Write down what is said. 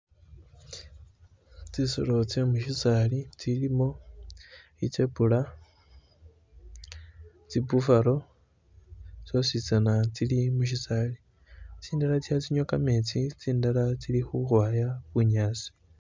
Tsisolo tse musisaali tsilimo i'zebra tsi buffalo tsosi tsana tsili musisali, tsindala tso kha tsi nywa kametsi tsindala tsili khukhwaya bunyasi